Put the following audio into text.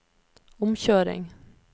omkjøring